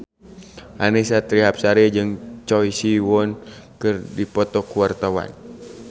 Annisa Trihapsari jeung Choi Siwon keur dipoto ku wartawan